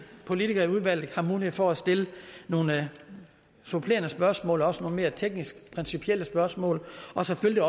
politikere i udvalget har mulighed for at stille nogle supplerende spørgsmål også mere tekniske og principielle spørgsmål og selvfølgelig